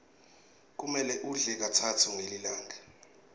kumele udle katsatfu ngelilanga